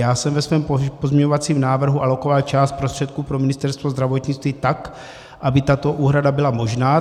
Já jsem ve svém pozměňovacím návrhu alokoval část prostředků pro Ministerstvo zdravotnictví tak, aby tato úhrada byla možná.